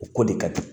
O ko de ka di